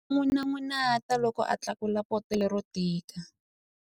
A n'unun'uta loko a tlakula poto lero tika.